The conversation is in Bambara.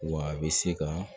Wa a bɛ se ka